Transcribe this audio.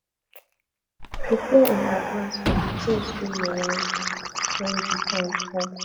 prepare in advance for the things wey you wan do when di time come